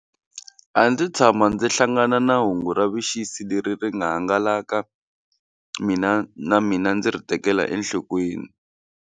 A ndzi tshama ndzi hlangana na hungu ra vuxisi leri ri nga hangalaka mina na mina ndzi ri tekela enhlokweni.